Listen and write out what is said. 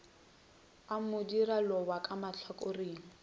a madira lobjwa ka mahlakoreng